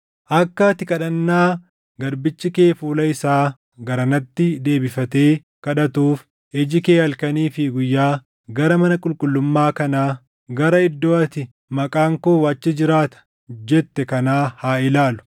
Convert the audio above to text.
Akka ati kadhannaa garbichi kee fuula isaa garanatti deebifatee kadhatuuf iji kee halkanii fi guyyaa gara mana qulqullummaa kanaa, gara iddoo ati, ‘Maqaan koo achi jiraata’ jette kanaa haa ilaalu.